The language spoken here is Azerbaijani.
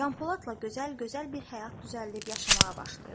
Canpoladla Gözəl gözəl bir həyat düzəldib yaşamağa başlayırlar.